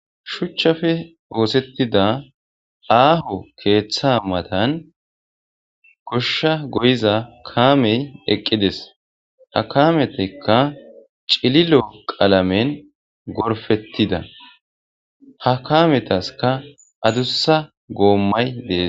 Shuchchappe ooththtetida aaho keththa mattan gadde goshsha gooyiza kaamey eqqides ha kaameppeka ciililo qalamen gorppetida ha kamessika aaduusa goomay de'essi.